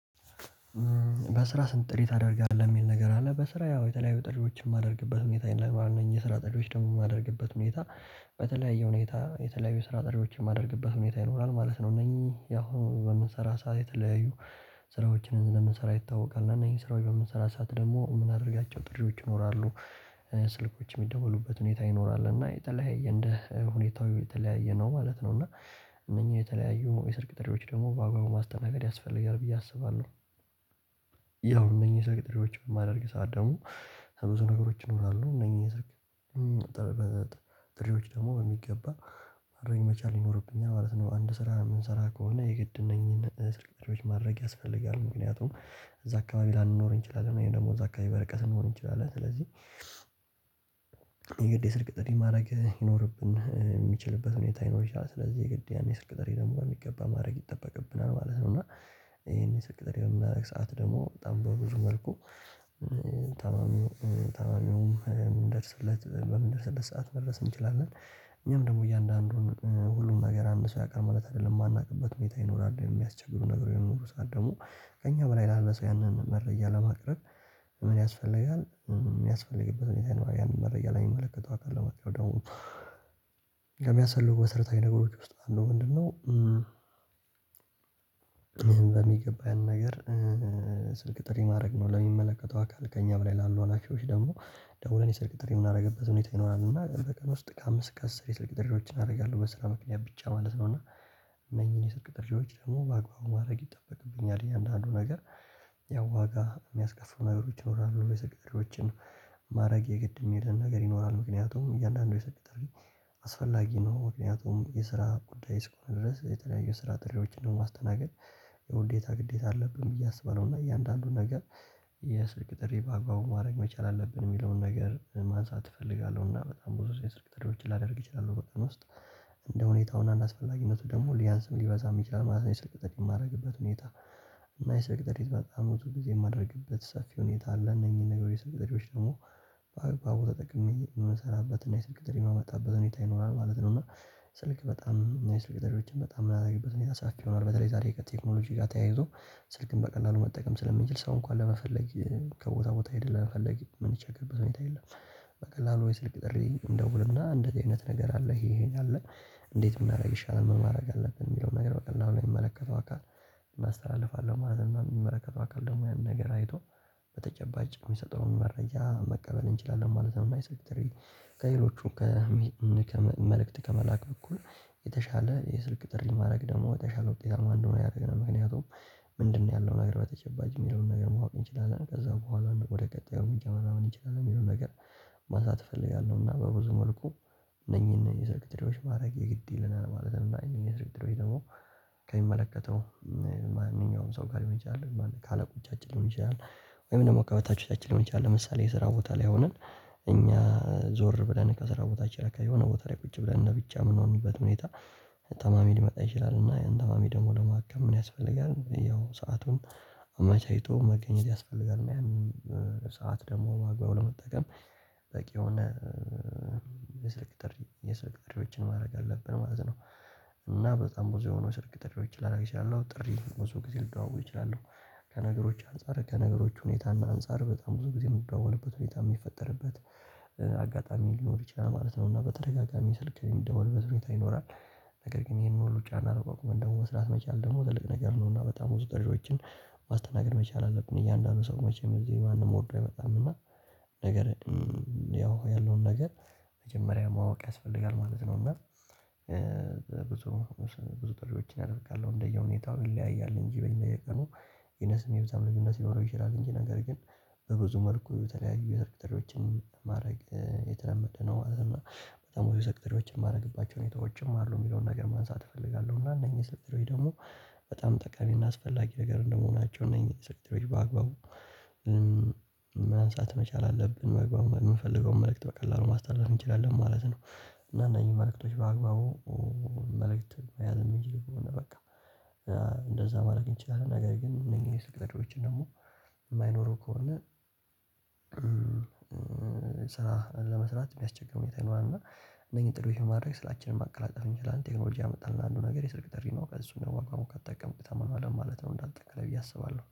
በስራ ስንት ጥሪ ታደርጋለህ የሚል ነገር አለ፣ በስራ ያው የተለያዩ ጥሪዎችን የማደርግበት ሁኔታ ለማንኛውም የስራ የማደርግበት ሁኔታ በተለያየ ሁኔታ የተለያዩ የስራ ጥሪዎችን የማደርግበት ሁኔታ ይኖራል ማለት ነው። እነኚህ ያው በምንሰራ ሰዓት የተለያዩ ስራዎችን ስለምንሰራ ይታወቃል፣ እና እነኚን ስራ በምንስራበት ሰዓት ደግሞ የምንናርጋቸው ጥሪዎች ይኖራሉ። ስልኮች የሚደውሉበት ሁኔታ ይኖራል እና የተለያየ እንደ ሁኔታው የተለያየ ነው ማለት ነው። እና እነኚህ የተለያዩ የ ስልክ ጥሪዎች ደግሞ በአግባቡ ማስተናገድ ያስፈልጋል ብዬ አስባለሁ። ያው እነኚህ የሰልክ ጥሪዎች በማደርግበት ሰዓት ደግሞ ብዙ ነገሮች ይኖራሉ እነኚህ የስልክ ጥሬዎች ደግሞ በሚገባ ማድረግ መቻል ይኖርብኛል ማለት ነው። አንድ ስራ የምንሰራ ከሆነ የግድ እነኚህን ስልክ ጥሪዎች ማድረግ ያስፈልጋል፣ ምክንያቱም እዛ አካባቢ ላንኖር እንችላለን ወይም ደግሞ እዛ አካባቢ በርቀት ልንሆን እንችላለን ስለዚህ የግዴ ስልክ ጥሪህ ማድረግ ይኖርብን ሚችልበት ሁኔታ ሊኖር ይችላል፣ ስለዚህ የግድ ያን የስልክ ጥሪ ደግሞ በሚገባ ማድረግ ይጠበቅብናል ማለት ነው። እና ይሄን የስልክ ጥሪ የምናደርግበት ሰዓት ደግሞ በጣም በብዙ መልኩ ታማሚውም ምንደርሰለት በምን ድርሰለት ሰዓት መድረስ እንችላለን። እኛም ደግሞ እያንዳንዱን ሁሉን ነገር አንድ ሰው ያውቃል ማለት አይደለም፣ የማናውቅበት ሁኔታ ይኖራል የሚያስቸግሩ ነገሮች በሚኖሩ ሰዓት ደግሞ ከእኛ በላይ ላለ ሰው ያንን መረጃ ለማቅረብ ምን ያስፈልጋል፣ የሚያስፈልግበት ሁኔታ ይኖራል ያንን መረጃ ለሚመለከተው አካል ለማቅርብ ደግሞ ለሚያሰፋልገው መስርታዊ ነገሮች ውስጥ አንዱ ምንድነው በሚገባ ያንን ነገር ስልክ ጥሪ ማድረግ ነው ለሚመለከተው አካል። ከእኛ በላይ ላሉ ሀላፊዎች ደግሞ ደውለን የሰልክ ጥሪ የምናደርግበት ሁኔታ ይኖራል እና በቀን ውስጥ ከአምስት እስከ አስር የስልክ ጥሪዎችን አደርጋለሁ። እና በስራ ምክንያት ብቻ ማለት ነው። እና እነኚን የሰልክ ጥሪዎች ደግሞ በአግባቡ ማድረግ ይጠበቅብኛል እያንዳንዱን ነገር ያው ዋጋ የሚያስከፍሉ ነገሮች ይኖራሉ፣ የስልክ ጥሪዎችን ማድረግ የገድ የሚልህ ነገር ይኖራል፣ ምክንያቱም እያንዳንዱ የስልክ ጥሪ አስፈላጊ ነው። ምክንያቱም የስራ ጉዳይ ስከ ሆነ ድረስ የተለያዩ የስራ ጥሪዎችን ነው በማስተናገድ የውዴታ ግዴታ አለብን ብዬ አስባለሁ እና እያንዳንዱን ነገር የስልክ ጥሪ ባግባቡ ማድረግ መቻል አለብን የሚለውን ነገር ማንሳት እፈልጋለሁ እና በጣም ብዙ የ ስልክ ጥሪዎች ላደርግ እችላለው በ ቀን ዉስጥ እንደ ሁኔታው እና እንደ አስፈላጊነቱ ደግሞ ሊያንስም ሊበዛም ይችላል ማለት ነው የስልክ ጥሪ የማደርግበት ሁኔታ። እና የሰልክ ጥሪ በጣም ብዙ ጊዜ የማደርግበት ሰፊ ሁኔታ አለ እነኚህን ነገሮች የስልክ ጥሪዎች ደግሞ በአግባው ተጠቅሜ የምሰራበት እና የስልክ ጥሪም የማመጣበት ሁኔታ ይኖራል ማለት ነው እና ስልክ በጣም የስልክ ጥሪዎችን በጣም የምናደርግበት ሁኔታ ሰፊ ሆኗል። በተለይ ዛሬ ከቴክኖሎጂ ጋር ተያይዞ ስልክን በቀላሉ መጠቀም ስለምንችል ሰው እንኳን ለመፈለግ ከቦታ ቦታ ሄደህ ለመልፈልግ የምንቸገርበት ሁኔታ የለም። በቀላሉ ወይ ስልክ ጥሪ እንደውልና፣ አንደዚ አይነት ነገር አለ ይሄ ይሄን አለ እንዴት ብናርግ ይሻላል? ምን ማድረግ አለብን? የሚለውን ነገር በቀላሉ ለሚመለከተው አካል እናስተላልፋለን ማለት ነው። የሚመረከተው አካል ደግሞ ያንን ነገር አይቶ በተጨባጭ የሚሰጠውን መረጃ መቀበል እንችላለን ማለት ነው። እና የስልክ ጥር ከሌሎቹም ከመልእክት ከመላክ በኩል፣ የተሻለ የስልክ ጥሪ ማድረግ ደግሞ የተሻለው ውጤታማ እንድሆን ያደረገናል። ምክንያቱም ምንድነው ያለው ነገር በተጨባጭ የሚለውን ነገር ማወቅ እንችላለን። ከዛ በኋላ ወደ ቀጣዩ እርምረጃ መራመድ እንችላለን የሚለውን ነገር መሳተፍ እፈልጋለሁ እና በብዙ መልኩ እነኚህን የሰልክ ጥሪዎች ማድረጌ የግድ ይለናል ማለት ነው። እነኚን የስልክ ጥሪ ደግሞ ከሚመለከተው ማንኛውም ሰው ጋር ሊሆን ይችላል ካለቆቻችን ሊሆን ይችላል ወይም ደግሞ ከበታቾቻችን ሊሆን ይችላል ለምሳሌ፣ የስራ ቦታ ላይ ሆነን እኛ ዞር ብለን ከስራ ቦታችን ላይ፣ ከሆነ ቦታ ላይ ቁጭ ብለን ለ ብቻ የምንሆንበት ሁኔታ ታማሚ ሊመጣ ይችላል እና ያንን ታማሚ ደግሞ ለማከም ምን ያስፈልጋል? ያው ሰአቱን አመቻችቶ መገኛት ያስፈልጋል። ሰዓት ደግሞ በአግባቡ ለመጠቀም በቂ የስልክ ጥሪ የስልክ ጥሪዎችን ማድረግ አለብን ማለት ነው። እና በጣም ብዙ የሆኑ የስልክ ጥሪዎችን ላደርግ እችላለሁ፣ ጥሪ ብዙ ጊዜ ልደዋወል እችላለሁ፣ ከነገሮች አንፃር ከነገሮች ሁኔታና አንፃር በጣም ብዙ ጊዜ የምደዋወልበት ሁኔታ የሚፈጠርበት አጋጣሚ ሊኖር ይችላል ማለት ነው እና በተደጋጋሚ ስልክ ሚደወልበት ሁኔታ ይኖራል ነገር ግን ይሄንን ሁሉ ጫና ተቋቁመን ደግሞ መስራት መቻል ደግሞ ትልቅ ነገር ነው። እና በጣም ብዙ ጥሪዎችን ማስተናገድ መቻል አለብን፣ እያንዳንዱን ሰው መቼም እዚህ ማንም ወርዶ አይመጣም እና ነገር ያው ያለውን ነገር መጀመሪያ ማወቅ ያስፈልጋል ማለት ነው እና ብዙ ብዙ ጥሪዎችን አደርጋለሁ እንደየሁኔታው ይለያያል እንጂ በእኛ የቀኑ የነሱም የብዛት ልዩነት ሊኖረው ይችላል እንጂ፣ ነገር ግን በብዙ መልኩ የተለያዩ የስልክ ጥሪዎችን ማድረግ የተለመደ ነው ማለት ነው። በጣም ብዙ የስልክ ጥሪዎችን ማረግባቸው ሁኔታዎችም አሉ የሚለውን ነገር ማንሳት እፈልጋለሁ እና እነኚህ የ ስልክ ጥሪዎች ደግሞ በጣም ጠቃሚና አስፈላጊ ነገር እንደመሆናቸው እነኚህ የስልክ ጥሪ በአግባቡ ማንሳት መቻል አለብን መግባባት የምፈልገውን መልእክት በቀላሉ ማስተላለፍ እንችላለን ማለት ነው እና እነኚህ መልእክቶች በአግባቡ መልእክት መያዝ እንድንችል በቃ እንደዛ ማድረግ እንችላል ነገር ግን፣ እነኚህን የ ስልክ ጥሪዎች ደግሞ የማይኖረው ከሆነ ስራ ለመስራት የሚያስቸግር ሁኔታ ይኖራል እና እናኚን ጥሪዎች በማድረግ ስራችንን ማቀላጠፍ እንችላለን ቴክኖሎጂ ያመጣልን አንዱ ነገር የስልክ ጥሪ ነው። እሱን ደግሞ በ እግባቡ ከተጠቀምክ ተማማለህ ማለት ነው እንደ አጠቃላይ ብዬ አስባለሁ።